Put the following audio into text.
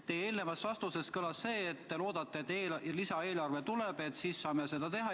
Teie eelmises vastuses kõlas lootus, et lisaeelarve tuleb, et siis saame seda teha.